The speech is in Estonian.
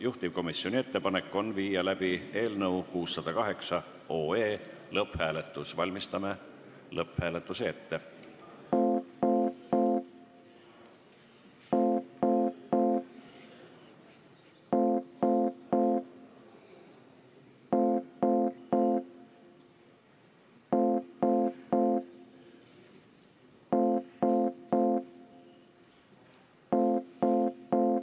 Juhtivkomisjoni ettepanek on läbi viia lõpphääletus, valmistame selle ette.